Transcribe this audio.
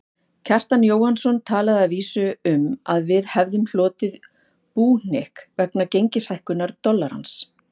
Kjartan Jóhannsson talaði að vísu um að við hefðum hlotið búhnykk vegna gengishækkunar dollarans.